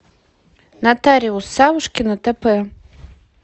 нотариус савушкина тп